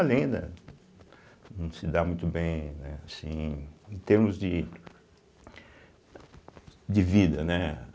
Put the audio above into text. Além da não se dar muito bem, né assim, em termos de de vida, né?